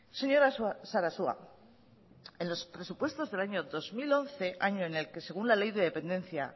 señora sarasua en los presupuestos del año dos mil once año en el que según la ley de dependencia